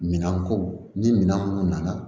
Minan ko ni minɛn minnu nana